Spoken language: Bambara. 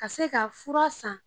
Ka se ka fura san